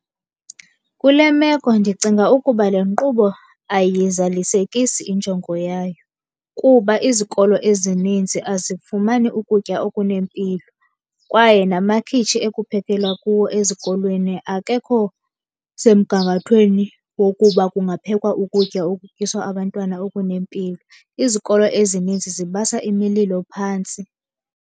Kule meko ndicinga ukuba le nkqubo ayiyizalisekisi injongo yayo kuba izikolo ezininzi azifumani ukutya okunempilo. Kwaye namakhitshi ekuphekelwa kuwo ezikolweni akekho semgangathweni wokuba kungaphekwa ukutya okutyiswa abantwana okunempilo. Izikolo ezininzi zibasa imililo phantsi.